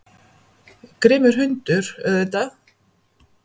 Grimmur hundur, auðvitað.